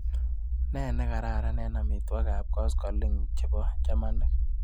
Nee nekararan eng amitwogikap koskoliny chebo chamanik.